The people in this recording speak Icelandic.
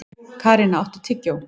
Karína, áttu tyggjó?